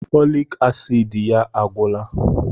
Fọlik asiidi ya a gwụla.